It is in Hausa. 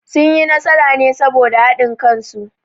Sun yi nasara ne saboda haɗin kan su